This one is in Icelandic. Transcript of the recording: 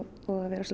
vera